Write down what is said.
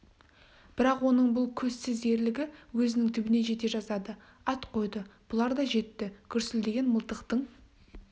бірақ оның бұл көзсіз ерлігі өзінің түбіне жете жаздады ат қойды бұлар да жетті гүрсілдеген мылтықтың